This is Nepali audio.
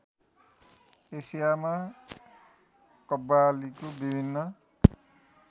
एसियामा कव्वालीको विभिन्न